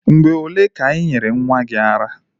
Mgbe ole ka i nyere nwa gi ara?